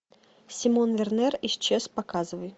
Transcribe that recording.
симон вернер исчез показывай